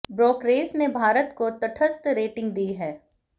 brokerage ने भारत को तटस्थ रेटिंग दी है